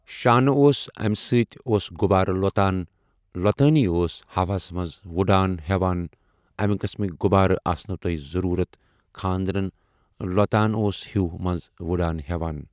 شانہ اوس اَمہِ سۭتۍ اوس غُبارٕ لۄتان لۄتانٕے اوس ہوہَس منٛز وُڈان ہیوان اَمہِ قٔسمٕکۍ غُبارٕ آسنو تۄہہِ ضروٗرت خاندارن لوتان اوس ہیوٗ منٛز وٕڈان ہیوان۔